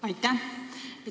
Aitäh!